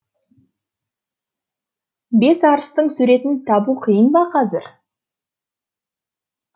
бес арыстың суретін табу қиын ба қазір